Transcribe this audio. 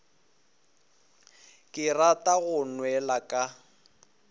ke rata go nwela ka